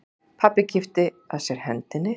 Pabbi kippti að sér hendinni.